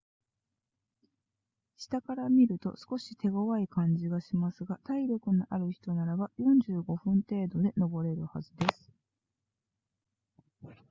下から見ると少し手ごわい感じがしますが体力のある人ならば45分程度で登れるはずです